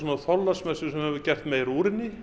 á Þorláksmessu sem er gert meira úr henni